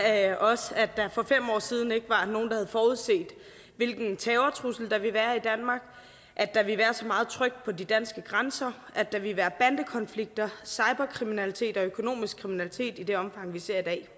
er også at der for fem år siden ikke var nogen der havde forudset hvilken terrortrussel der ville være i danmark at der ville være så meget tryk på de danske grænser at der ville være bandekonflikter cyberkriminalitet og økonomisk kriminalitet i det omfang vi ser i dag